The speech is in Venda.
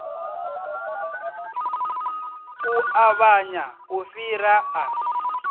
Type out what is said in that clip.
u ṱavhanya u fhira a